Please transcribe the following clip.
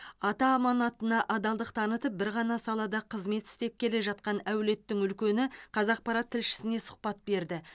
ата аманатына адалдық танытып бір ғана салада қызмет істеп келе жатқан әулеттің үлкені қазақпарат тілшісіне сұхбат берді